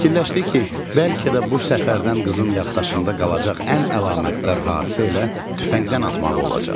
Fikirləşdi ki, bəlkə də bu səfərdən qızın yaddaşında qalacaq ən əlamətdar hadisə elə tüfəngdən atmağı olacaq.